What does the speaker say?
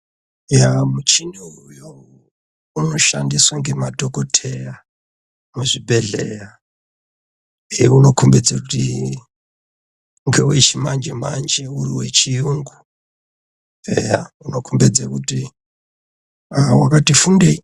Yaa muchini uyo unoshandisae ngemadhokoteya muzvibhedhleya unokombedze kuti ngewe chimanje manje uri wechiyungu eya unokombedze kuti ee wakati fundei.